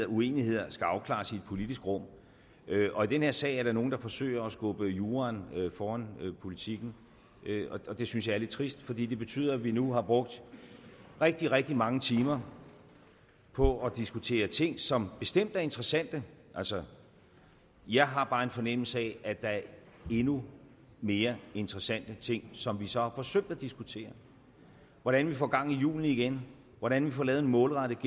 uenigheder skal afklares i et politisk rum og i den her sag er der nogle der forsøger at skubbe juraen foran politikken og det synes jeg er lidt trist fordi det betyder at vi nu har brugt rigtig rigtig mange timer på at diskutere ting som bestemt er interessante altså jeg har bare en fornemmelse af at der er endnu mere interessante ting som vi så har forsømt at diskutere hvordan vi får gang i hjulene igen hvordan vi får lavet en målrettet